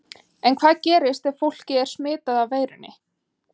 En hvað gerist ef fólkið er smitað af veirunni?